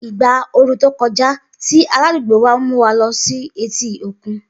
Igba ooru to koja ti aladugbo wa mu wa lọ si eti okun.